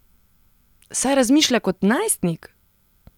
Saj razmišlja kot najstnik!